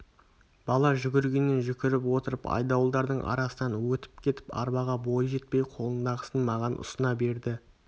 бала жүгіргеннен жүгіріп отырып айдауылдардың арасынан өтіп кетіп арбаға бойы жетпей қолындағысын маған ұсына берді